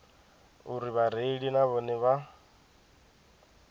uri vhareili na vhone vha